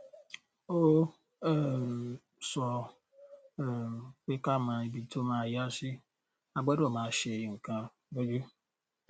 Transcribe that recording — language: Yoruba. ó um sọ um pé ká mọ ibi tó máa yá sí a a gbọdọ máa ṣe nǹkan lójú